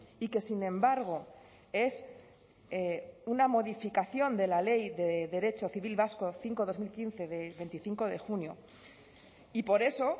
y que sin embargo es una modificación de la ley de derecho civil vasco cinco barra dos mil quince de veinticinco de junio y por eso